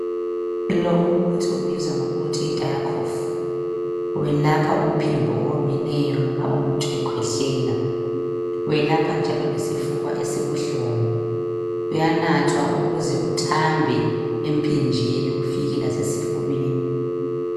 Lo umuthi ubizwa ngokuthi yi Diakof welapha umphimbo owomileyo nxa umuntu ekhwehlela. Welapha njalo lesifuba esibuhlungu uyanathwa ukuze kuthambe emphinjeni lasezifuyweni.